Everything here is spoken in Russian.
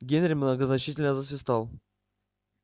генри многозначительно засвистал